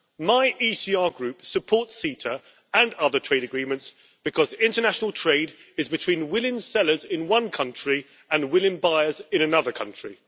My ECR Group supports CETA and other trade agreements because international trade is between willing sellers in one country and willing buyers in another country.